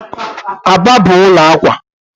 Aba bụ ụlọ akwa.